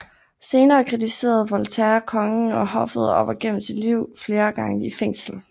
Senere kritiserede Voltaire kongen og hoffet og var gennem sit liv flere gange i fængsel